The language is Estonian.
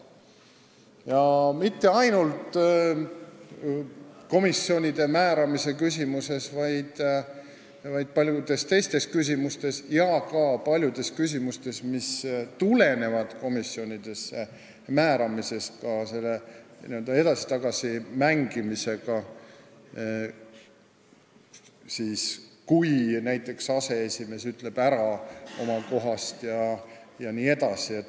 Seda mitte ainult komisjonide liikmete määramise küsimustes, vaid paljudes teistes küsimustes ja ka paljudes küsimustes, mis tulenevad komisjonide liikmete määramisest, sellest n-ö edasi-tagasi mängimisest, kui näiteks aseesimees ütleb oma kohast ära jne.